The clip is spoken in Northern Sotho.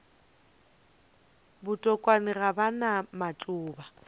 botokwane ga ba na matšoba